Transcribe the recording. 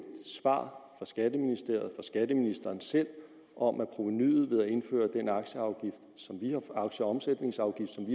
svar fra skatteministeriet skatteministeren selv om at provenuet ved at indføre den aktieomsætningsafgift som